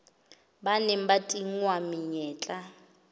ba neng ba tingwa menyetla